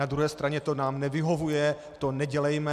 Na druhé straně to nám nevyhovuje, to nedělejme.